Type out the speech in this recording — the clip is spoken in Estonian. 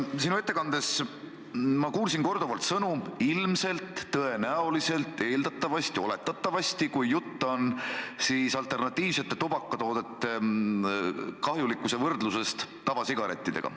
Sinu ettekandes ma kuulsin korduvalt sõnu "ilmselt", "tõenäoliselt", "eeldatavasti", "oletatavasti", kui jutt oli alternatiivsete tubakatoodete kahjulikkusest võrreldes tavasigarettidega.